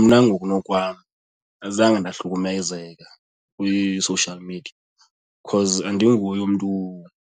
Mna ngokunokwam azange ndahlukumezeka kwi-social media because andinguye umntu